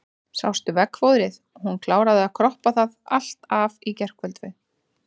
Sástu veggfóðrið, hún kláraði að kroppa það allt af í gærkvöld.